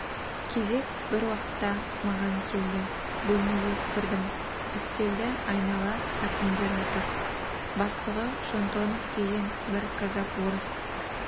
кезек бір уақытта маған келді бөлмеге кірдім үстелді айнала әкімдер отыр бастығы шонтонов деген бір казак-орыс